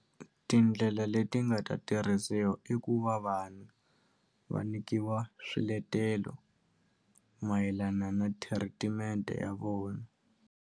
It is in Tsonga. Tindlela leti nga ta tirhisiwa i ku va vanhu va nikiwa swiletelo mayelana na thiritimente ya vona.